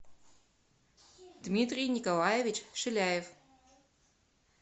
дмитрий николаевич шиляев